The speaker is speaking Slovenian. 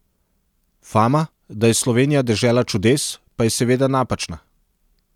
Fama, da je Slovenija dežela čudes, pa je seveda napačna.